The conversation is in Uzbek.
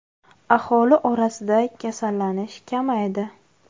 Aholi orasida kasallanish kamaydi.